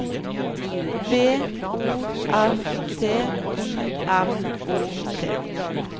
B O R T I M O T